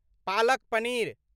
palak paneer